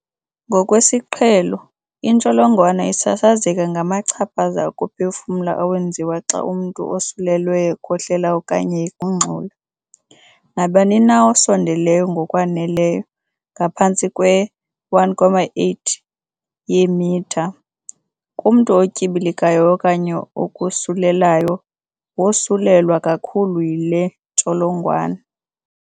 Ngokwesiqhelo, intsholongwane isasazeka ngamachaphaza okuphefumla awenziwa xa umntu osulelweyo ekhohlela okanye egungxula. Nabani na osondeleyo ngokwaneleyo, ngaphantsi kwe-1.8 yeemitha, kumntu otyibilikayo okanye okosulelayo wosulelwa kakhulu yile ntsholongwane.